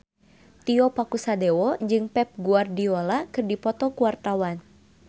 Tio Pakusadewo jeung Pep Guardiola keur dipoto ku wartawan